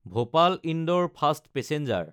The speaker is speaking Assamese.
ভূপাল–ইন্দোৰ ফাষ্ট পেচেঞ্জাৰ